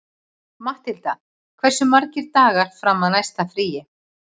Matthilda, hversu margir dagar fram að næsta fríi?